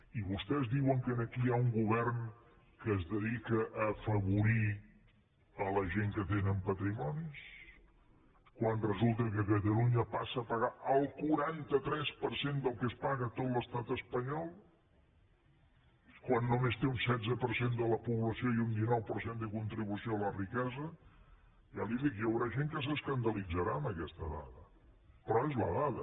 i vostès diuen que aquí hi ha un govern que es dedica a afavorir la gent que tenen patrimonis quan resulta que catalunya passa a pagar el quaranta tres per cent del que es paga a tot l’estat espanyol quan només té un setze per cent de la població i un dinou per cent de la contribució a la riquesa ja li ho dic hi haurà gent que s’escandalitzarà amb aquesta dada però és la dada